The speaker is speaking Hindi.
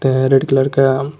रेड कलर का --